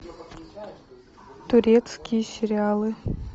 турецкие сериалы